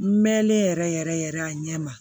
N mɛnlen yɛrɛ yɛrɛ yɛrɛ a ɲɛ ma